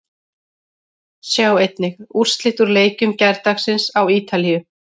Sjá einnig: Úrslit úr leikjum gærdagsins á Ítalíu